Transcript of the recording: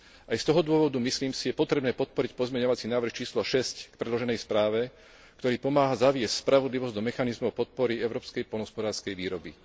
Aj z toho dôvodu, myslím si, je potrebné podporiť pozmeňovací návrh číslo 6 k predloženej správe, ktorý pomáha zaviesť spravodlivosť do mechanizmov podpory európskej poľnohospodárskej výroby.